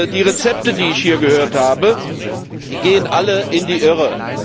Die Rezepte die ich hier gehört habe gehen alle in die Irre.